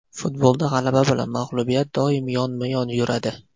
Futbolda g‘alaba bilan mag‘lubiyat doim yonma-yon yuradi.